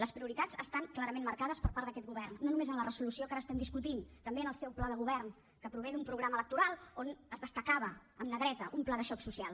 les prioritats estan clarament marcades per part d’aquest govern no només en la resolució que ara estem discutint també en el seu pla de govern que prové d’un programa electoral on es destacava en negreta un pla de xoc social